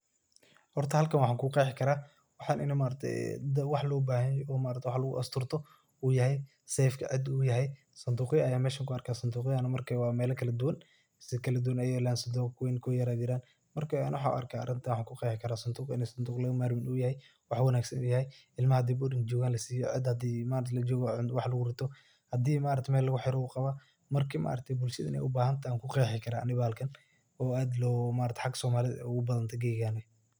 Horta halkan waxa ku qexi karaa waxan inu yahay wax lo bahan yahay oo wax lagu asturto u yahay, safeta cida u yahay, sandugya ayan mesha kuarka . Sandugyahana marka wa melo kala duwan kuweyn ba jira ku yar ba jira ,waxan ku qexi karaa ini sanduqa u yahay mid aan laga ,marmi karin wax wanagsan u yahay ,cilma hadey boarding jogan lasiyo ,cida hadi malinki lajogo wax lagu rito hadi maaragte wax lagurito u qawan marka maaragte ani bulshada iney u bahan tahay ayan kuqexi karaa oo aad halka somalida ay ugu badhantahay geyigan.